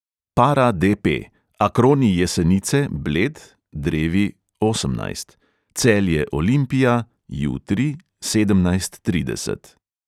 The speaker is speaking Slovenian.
Para DP: akroni jesenice – bled (drevi, osemnajst), celje – olimpija (jutri, sedemnajst trideset).